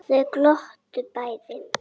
Þau glottu bæði.